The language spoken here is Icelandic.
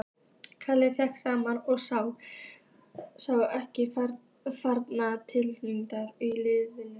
Kalli féll saman og sá ekki framar tilganginn í lífinu.